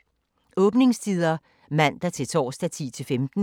Åbningstider: Mandag-torsdag: 10-15 Fredag: 10-12